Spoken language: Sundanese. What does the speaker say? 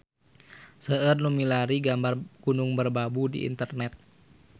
Seueur nu milarian gambar Gunung Merbabu di internet